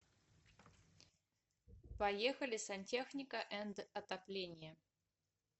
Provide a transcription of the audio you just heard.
поехали сантехника энд отопление